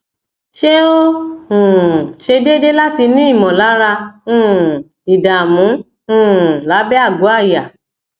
ṣé ó um se deede láti ní ìmọlára um ìdààmú um lábẹ àgọ àyà